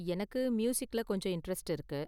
எனக்கு மியூசிக்ல கொஞ்சம் இண்டரெஸ்ட் இருக்கு.